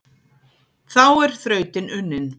þá er þrautin unnin